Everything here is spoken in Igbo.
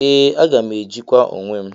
Ee aga m ejikwa onwem.